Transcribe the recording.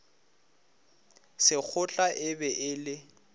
sekgotla e be e le